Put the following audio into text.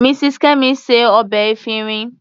Mrs. Kemi se ọbẹ̀ efinrin.